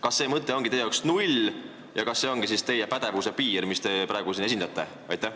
Kas see mõte on teie jaoks null ja kas see ongi teie pädevuse piir, mida te praegu siin esitlete?